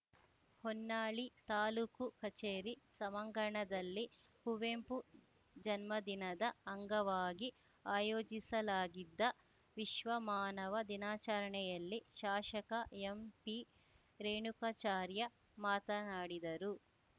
ಹೊನ್ನಾಳಿ ತಾಲೂಕು ಕಚೇರಿ ಸಭಾಂಗಣದಲ್ಲಿ ಕುವೆಂಪು ಜನ್ಮದಿನದ ಅಂಗವಾಗಿ ಆಯೋಜಿಸಲಾಗಿದ್ದ ವಿಶ್ವಮಾನವ ದಿನಾಚರಣೆಯಲ್ಲಿ ಶಾಶಕ ಎಂಪಿರೇಣುಕಾಚಾರ್ಯ ಮಾತನಾಡಿದರು